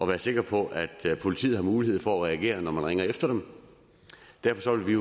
være sikre på at politiet har mulighed for at reagere når man ringer efter dem derfor vil vi